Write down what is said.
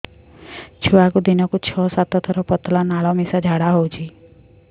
ଛୁଆକୁ ଦିନକୁ ଛଅ ସାତ ଥର ପତଳା ନାଳ ମିଶା ଝାଡ଼ା ହଉଚି